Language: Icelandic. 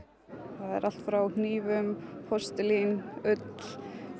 það er allt frá hnífum postulín ull föt